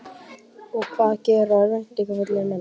Og hvað gera örvæntingarfullir menn?